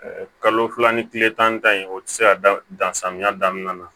Ɛɛ kalo fila ni kile tan ni tan in o tɛ se ka dan samiya daminɛ